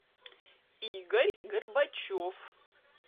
игорь горбачев